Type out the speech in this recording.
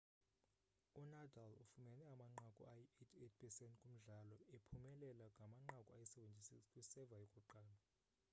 unadal ufumene amanqaku ayi-88% kumdlalo ephumelela ngamanqaku ayi-76 kwi-serve yokuqala